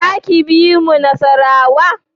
Za ki bi mu Nasarawa?